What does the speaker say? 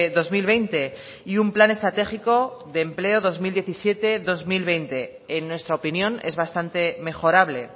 dos mil veinte y un plan estratégico de empleo dos mil diecisiete dos mil veinte en nuestra opinión es bastante mejorable